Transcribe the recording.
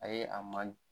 A ye a man